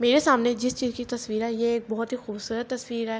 معرع سامنع جیس چیز کی تاسطعرحای ےع عک باحہت حی کحہہبسءرات تاسطعر حای۔.